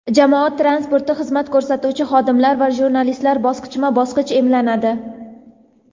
jamoat transportida xizmat ko‘rsatuvchi xodimlar va jurnalistlar bosqichma-bosqich emlanadi.